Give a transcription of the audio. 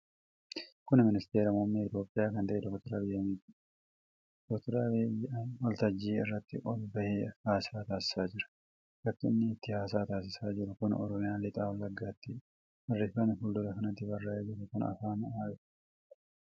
Kun Ministeera Muummee Itoophiyaa kan ta'e Dr Abiy Ahimadhidha. Dr Abiy waltajjii irratti ol bahee haasaa taasisaa jira. Bakki inni itti haasaa taasisaa jiru kun Oromiyaa lixaa wallagattidha. Barreeffamni fuuldura kanatti barraa'ee jiru kun afaan maalitiin barraa'e?